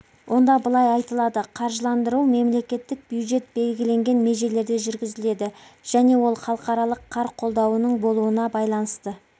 онда былай айтылады қаржыландыру мемлекеттік бюджет белгіленген межелерде жүргізіледі және ол халықаралық қар қолдауының болуына байланысты